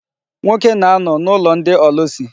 Nwoke na-anọ n'ụlọ ndị ọlụsị.